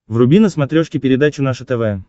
вруби на смотрешке передачу наше тв